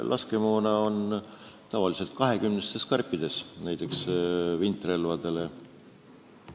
Laskemoon on tavaliselt kahekümnestes karpides, näiteks vintrelvade laskemoon.